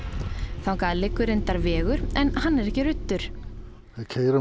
þangað liggur reyndar vegur en hann er ekki ruddur við keyrum